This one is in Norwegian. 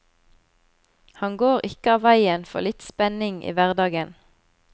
Han går ikke av veien for litt spenning i hverdagen.